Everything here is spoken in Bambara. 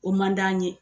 O man d'an ye